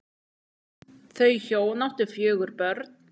Þau hjón áttu fjögur börn.